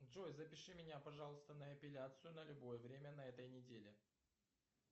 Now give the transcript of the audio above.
джой запиши меня пожалуйста на эпиляцию на любое время на этой неделе